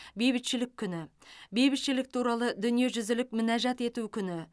бейбітшілік күні бейбітшілік туралы дүниежүзілік мінәжат ету күні